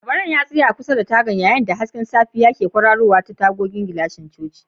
Labaran ya tsaya kusa da tagar yayin da hasken safiya ke ta kwarara ta tagogin gilashin cocin.